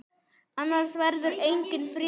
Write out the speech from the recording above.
Annars verður enginn friður.